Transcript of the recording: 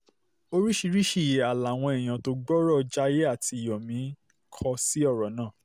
oríṣiríṣi ìhà làwọn èèyàn tó gbọ́ ọ̀rọ̀ jaiye àti yomi kò sí ọ̀rọ̀ náà